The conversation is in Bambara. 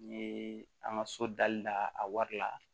Ni an ka so dali la a wari la